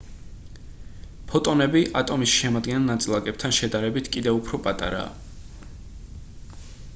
ფოტონები ატომის შემადგენელ ნაწილაკებთან შედარებით კივედ უფრო პატარაა